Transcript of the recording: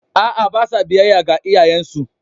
A’a, ba sa biyayya ga iyayensu.